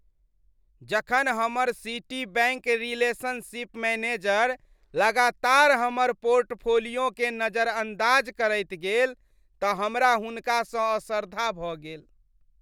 जखन हमर Citibank relationship manager लगातार हमर पोर्टफोलिओकेँ नजरअंदाज करैत गेल तऽ हमरा हुनकासँ असरधा भऽ गेल।